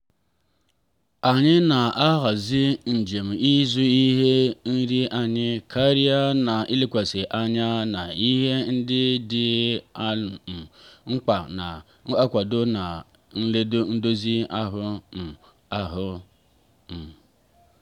anyị na-ahazi njem ịzụ ihe nri anyị karịa na-elekwasị anya na ihe ndị dị um mkpa na-akwado nri n'edozi ahụ. um ahụ. um